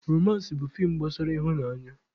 Romansị bụ feem gbasara ịhụnanya.